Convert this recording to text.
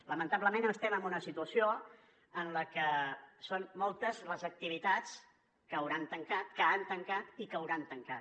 lamentablement estem en una situació en la que són moltes les activitats que han tancat i que hauran tancat